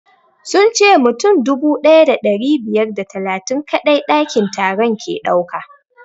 Sun ce mutum dubu ɗaya da ɗari biyar da talatin kaɗai ɗakin taron ke ɗauka